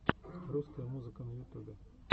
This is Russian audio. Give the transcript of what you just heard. русская музыка на ютубе